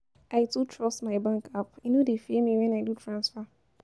I too trust my bank app, e no dey fail me wen I do transfer.